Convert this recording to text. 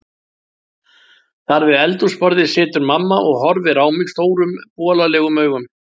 Þar við eldhúsborðið situr mamma og horfir á mig stórum bolalegum augum